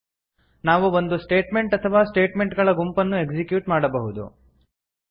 ನಾವು ಒಂದು ಸ್ಟೇಟ್ಮೆಂಟ್ ಅಥವಾ ಸ್ಟೇಟ್ಮೆಂಟ್ ಗಳ ಗುಂಪನ್ನು ಎಕ್ಸಿಕ್ಯೂಟ್ ಮಾಡಬಹುದು